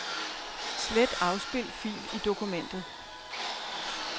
Slet afspil fil i dokumentet.